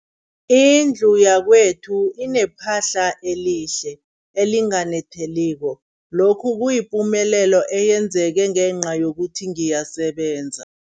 Indlu yakwethu inephahla elihle, elinganetheliko, lokhu kuyipumelelo eyenzeke ngenca yokuthi ngiyasebenza.